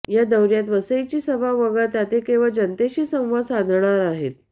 या दौर्यात वसईची सभा वगळता ते केवळ जनतेशी संवाद साधणार आहेत